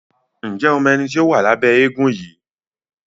Njé o mọ ẹní tó wá Lábé éégun yí?